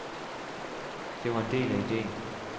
Det var en del af ideen.